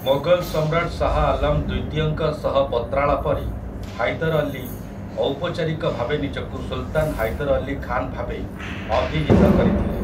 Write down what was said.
ମୋଗଲ ସମ୍ରାଟ ଶାହ୍ ଆଲାମ୍ ଦ୍ୱିତୀୟଙ୍କ ସହ ପତ୍ରାଳାପରେ ହାଇଦର୍ ଅଲୀ ଔପଚାରିକ ଭାବେ ନିଜକୁ ସୁଲତାନ୍ ହାଇଦର୍ ଅଲୀ ଖାନ୍ ଭାବେ ଅଭିହିତ କରିଥିଲେ ।